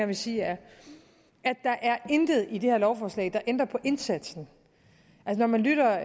vil sige er at der er intet i det her lovforslag der ændrer på indsatsen når man lytter